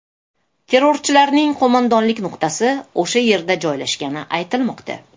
Terrorchilarning qo‘mondonlik nuqtasi o‘sha yerda joylashgani aytilmoqda.